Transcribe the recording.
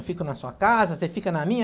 Eu fico na sua casa, você fica na minha.